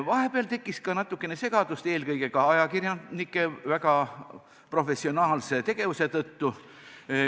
Vahepeal tekkis ka natukene segadust, eelkõige ajakirjanike väga professionaalse tegevuse tõttu.